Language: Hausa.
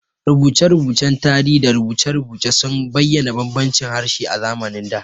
Rubuce-rubucen tarihi da rubuce-rubuce sun bayyana bambancin harshe a zamanin da.